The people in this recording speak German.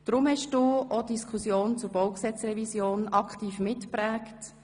Darum hast du auch die Diskussion zur Baugesetzrevision aktiv mitgeprägt.